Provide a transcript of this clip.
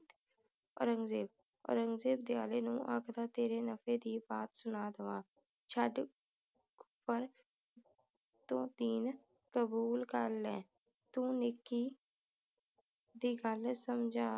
ਔਰੰਗਜੇਬ, ਔਰੰਗਜੇਬ ਦ੍ਯਾਲੇ ਨੂੰ ਆਖਦਾ ਤੇਰੇ ਨੱਬੇ ਦੀ ਬਾਤ ਸੁਣਾ ਦੇਵਾ। ਛੱਡ ਪਰ ਤੂੰ ਦੀਨ ਕਬੂਲ ਕਰ ਲੈ ਤੂੰ ਨੇਕੀ ਦੀ ਗੱਲ ਸਮਝਾ